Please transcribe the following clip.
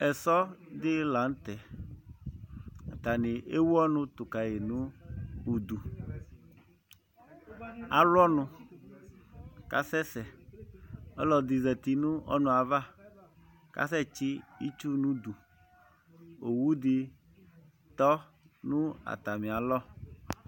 Esɔdi lanʋtɛ atani ewʋ ɔnʋ tukayi nʋ ʋdʋ alʋ ɔnʋ kʋ asɛsɛ ɔlɔdi zati nʋ ɔnʋɛ ava kʋ asɛtsi itsu nʋ ʋdʋ owʋdi tɔ nʋ atami alɔ